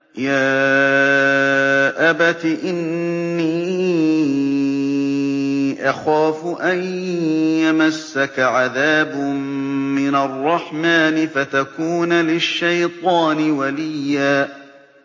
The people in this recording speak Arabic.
يَا أَبَتِ إِنِّي أَخَافُ أَن يَمَسَّكَ عَذَابٌ مِّنَ الرَّحْمَٰنِ فَتَكُونَ لِلشَّيْطَانِ وَلِيًّا